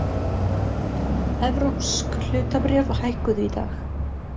Evrópsk hlutabréf hækkuðu í dag